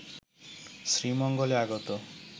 শ্রীমঙ্গলে আগত